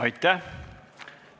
Aitäh!